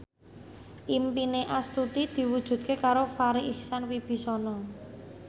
impine Astuti diwujudke karo Farri Icksan Wibisana